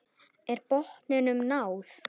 Er botninum náð?